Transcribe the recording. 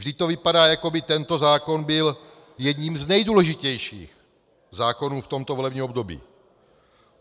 Vždyť to vypadá, jako by tento zákon byl jedním z nejdůležitějších zákonů v tomto volebním období.